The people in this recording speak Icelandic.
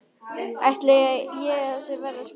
Ætli ég sé að verða skrýtin.